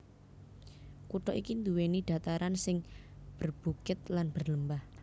Kutha iki nduwèni dhataran sing berbukit lan berlembah